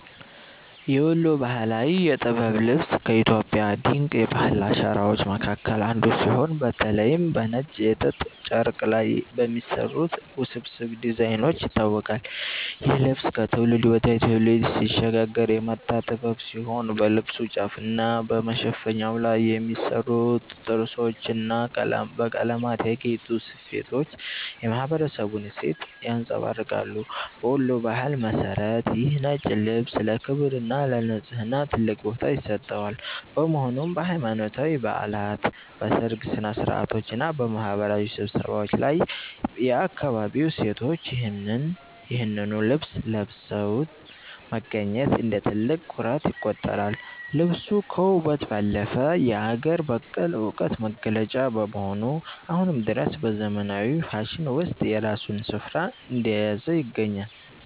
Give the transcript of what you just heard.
የወሎ ባህላዊ የጥበብ ልብስ ከኢትዮጵያ ድንቅ የባህል አሻራዎች መካከል አንዱ ሲሆን፤ በተለይም በነጭ የጥጥ ጨርቅ ላይ በሚሰሩት ውስብስብ ዲዛይኖች ይታወቃል። ይህ ልብስ ከትውልድ ወደ ትውልድ ሲሸጋገር የመጣ ጥበብ ሲሆን፣ በልብሱ ጫፍና በመሸፈኛው ላይ የሚሰሩት ጥርሶችና በቀለማት ያጌጡ ስፌቶች የማኅበረሰቡን እሴት ያንጸባርቃሉ። በወሎ ባህል መሠረት ይህ ነጭ ልብስ ለክብርና ለንጽሕና ትልቅ ቦታ ይሰጠዋል፤ በመሆኑም በሃይማኖታዊ በዓላት፣ በሰርግ ሥነ-ሥርዓቶችና በማኅበራዊ ስብሰባዎች ላይ የአካባቢው ሴቶች ይህንኑ ልብስ ለብሰው መገኘት እንደ ትልቅ ኩራት ይቆጠራል። ልብሱ ከውበት ባለፈ የአገር በቀል ዕውቀት መገለጫ በመሆኑ፣ አሁንም ድረስ በዘመናዊው ፋሽን ውስጥ የራሱን ስፍራ እንደያዘ ይገኛል።